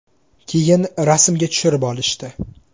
Keyin rasmga tushirib olishdi.